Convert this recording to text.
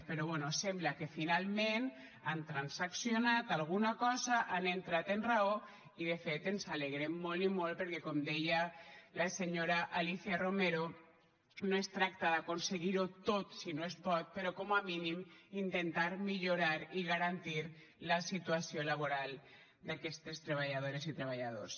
però bé sembla que finalment han transaccionat alguna cosa han entrat en raó i de fet ens n’alegrem molt i molt perquè com deia la senyora alícia romero no es tracta d’aconseguir ho tot si no es pot però com a mínim intentar millorar i garantir la situació laboral d’aquestes treballadores i treballadors